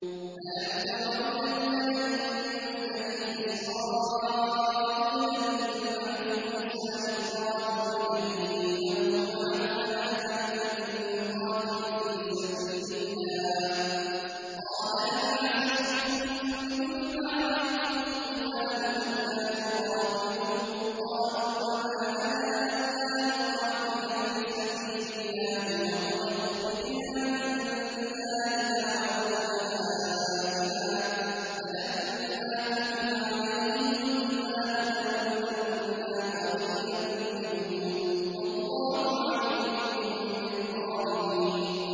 أَلَمْ تَرَ إِلَى الْمَلَإِ مِن بَنِي إِسْرَائِيلَ مِن بَعْدِ مُوسَىٰ إِذْ قَالُوا لِنَبِيٍّ لَّهُمُ ابْعَثْ لَنَا مَلِكًا نُّقَاتِلْ فِي سَبِيلِ اللَّهِ ۖ قَالَ هَلْ عَسَيْتُمْ إِن كُتِبَ عَلَيْكُمُ الْقِتَالُ أَلَّا تُقَاتِلُوا ۖ قَالُوا وَمَا لَنَا أَلَّا نُقَاتِلَ فِي سَبِيلِ اللَّهِ وَقَدْ أُخْرِجْنَا مِن دِيَارِنَا وَأَبْنَائِنَا ۖ فَلَمَّا كُتِبَ عَلَيْهِمُ الْقِتَالُ تَوَلَّوْا إِلَّا قَلِيلًا مِّنْهُمْ ۗ وَاللَّهُ عَلِيمٌ بِالظَّالِمِينَ